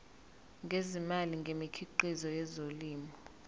ngezimali ngemikhiqizo yezolimo